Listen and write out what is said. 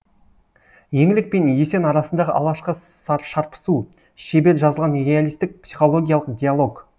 еңлік пен есен арасындағы алғашқы шарпысу шебер жазылған реалистік психологиялық диалог